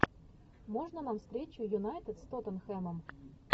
можно нам встречу юнайтед с тоттенхэмом